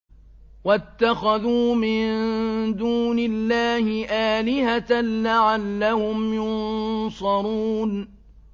وَاتَّخَذُوا مِن دُونِ اللَّهِ آلِهَةً لَّعَلَّهُمْ يُنصَرُونَ